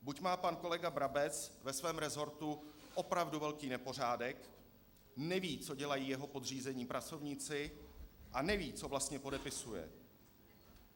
Buď má pan kolega Brabec ve svém resortu opravdu velký nepořádek, neví, co dělají jeho podřízení pracovníci, a neví, co vlastně podepisuje.